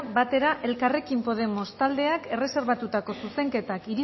batera elkarrekin podemos taldeak erreserbatutako zuzenketak